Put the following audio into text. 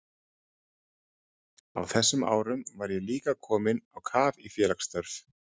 Á þessum árum var ég líka kominn á kaf í félagsstörf.